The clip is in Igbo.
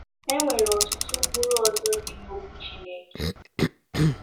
E nwere ọtụtụ ụkpụrụ ọzọ dị n’Okwu Chineke.